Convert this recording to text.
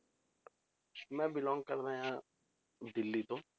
ਮੈਂ belong ਕਰਦਾਂ ਆਂ ਦਿੱਲੀ ਤੋਂ।